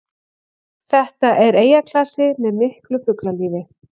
Þetta er eyjaklasi með miklu fuglalífi